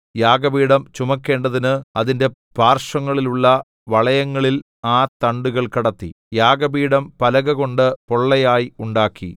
യാഗപീഠം ചുമക്കേണ്ടതിന് അതിന്റെ പാർശ്വങ്ങളിലുള്ള വളയങ്ങളിൽ ആ തണ്ടുകൾ കടത്തി യാഗപീഠം പലകകൊണ്ട് പൊള്ളയായി ഉണ്ടാക്കി